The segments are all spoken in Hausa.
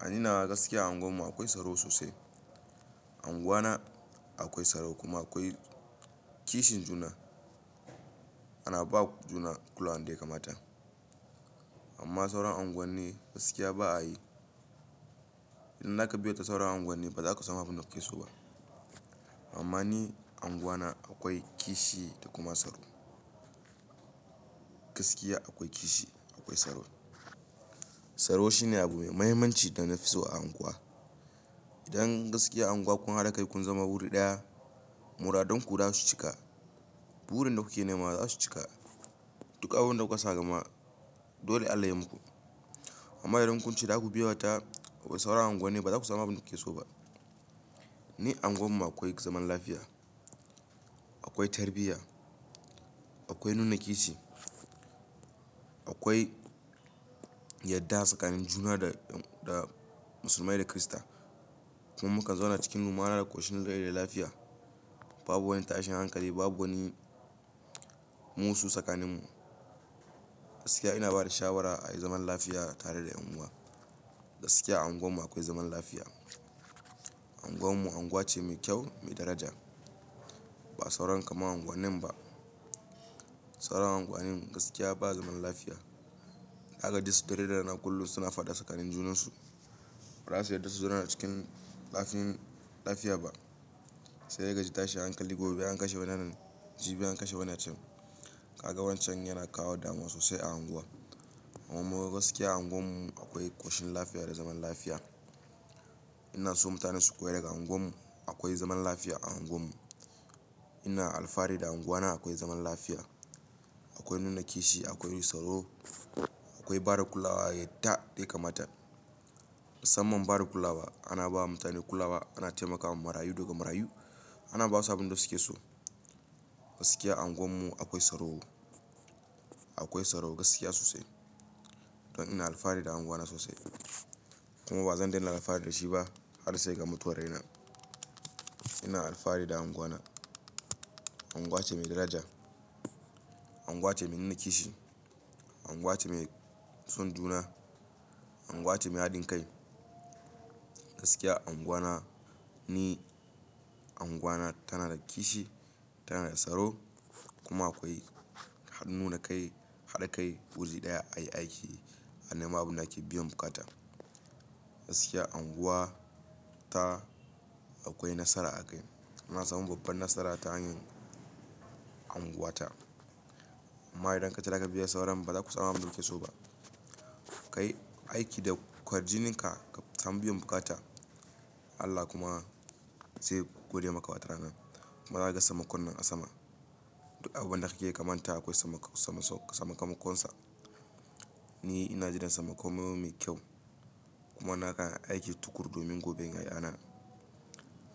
A ni nawa gaskiya a unguwarmu akwai tsaro sosai. Unguwana akwai tsaro kuma akwai kishin juna. Ana ba juna kulawa dai kamata. Amma sauran unguwanni gaskiya ba a yi. Idan zaka biya ta sauran unguwanni ba za ka samu abin da ka so ba. Amma ni unguwana akwai kishi da kuma tsaro. Gaskiya akwai kishi, akwai tsaro. Tsaro shi ne abu mai mahimmanci da na fi so a unguwa. Idan gaskiya a unguwa kun haɗa kai kun zama wuri ɗaya, muradunku za su cika, burin da kuke nema za su cika, duk abun da kuka sa a gaba dole Allah ya muku. Amma idan kun ce za ku biya ta, sauran unguwanni ba za ku samu abin da ku so ba. Ni a unguwarmu akwai zaman lafiya, akwai tarbiyya, akwai nuna kishi, akwai yadda tsakanin juna da, da musulmai da kirista. Kuma mukan zauna cikin rummana da ƙoshin rai da lafiya. Babu wani tashin hankali, babu wani musu tsakaninmu. Gaskiya ina ba da shawara a yi zaman lafiya tare da unguwa. Gaskiya a unguwarmu akwai zaman lafiya. Unguwarmu unguwa ce mai kyau, mai daraja. Ba sauran kamar unguwannin ba. Sauran unguwanni gaskiya ba zaman lafiya. Ka ga duk su ta raina kullum suna fada tsakanin junansu. Ba za su yarda su zauna cikin ɗafin, lafiya ba. Sai ka ji tashin hankali, gobe an kashe wannan, jibi an kashe wannan can. Ka ga wancan yana kawo damina sosai a unguwa. Amma gaskiya a unguwarmu akwai ƙoshin lafiya da zaman lafiya. Ina so mutane su koyi daga unguwarmu. Akwai zaman lafiya a unguwarmu. Ina alfahari da unguwana. Akwai zaman lafiya, akwai nuna kishi, akwai tsaro, akwai bada kulawa yadda ya kamata. Musamman bada kulawa, ana ba mutane kulawa, ana taimakawa marayu da gwamrarayu, ana ba su abin da suke so. Gaskiya a unguwarmu akwai tsaro, akwai tsaro gaskiya sosai. Don ina alfahari da unguwana sosai. Kuma ba zan daina alfahari da shi ba har sai ga mutuwar raina. Ina alfahari da unguwana. Unguwa ce mai daraja. Unguwa ce mai nuna kishi. Unguwa ce mai son juna. Unguwa ce mai haɗin kai. Gaskiya unguwana ni, unguwana tana da kishi, tana da tsaro kuma akwai had-nuna kai, haɗa kai wuri ɗaya ayi aiki a nema abun da ake biyan bukata. Gaskiya unguwa ta akwai nasara a kai. Ana samun babban nasara ta hanyar unguwata. Amma idan ka ce za ka biya sauran ba za ku samu abin da ku so ba. Ka yi aiki da ƙwarjininka ka samu biyan bukata. Allah kuma zai gode maka watarana. Ba za ka ga samarkon nan a sama. Duk abun da kake kamata akwai samarkon, samarsok, samarkokinsa. Ni ina jin samarkon mu yana da kyau. Kuma nakan aiki tukur domin goben yaya na.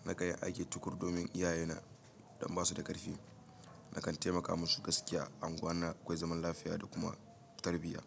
Nakan yi aiki tukur domin iyaye na don ba su da ƙarfi. Nakan taimaka musu gaskiya. Unguwana akwai zaman lafiya da kuma tarbiyya.